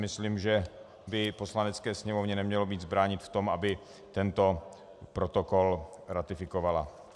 Myslím, že by Poslanecké sněmovně nemělo nic bránit v tom, aby tento protokol ratifikovala.